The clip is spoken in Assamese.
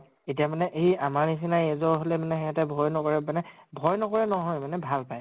এতিয়া মানে এই আমাৰ নিছিনা age ৰ হʼলে মানে হিহঁতে ভয় নকৰে মানে, ভয় নকৰে নহয় মানে ভাল পায়।